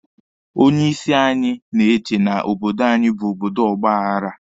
Onye isi anyị na-eche na obodo anyi bụ obodo ọgba aghara.